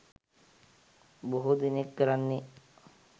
බොහෝ දෙනෙක් කරන්නේ